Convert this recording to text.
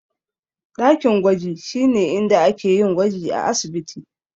Dakin gwaji shine inda ake yin gwaji a asibiti.